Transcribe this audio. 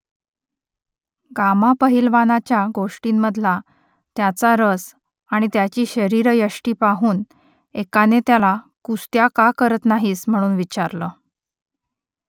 gamma पहिलवानाच्या गोष्टींमधला त्याचा रस आणि त्याची शरीरयष्टी पाहून एकाने त्याला कुस्त्या का करत नाहीस म्हणून विचारलं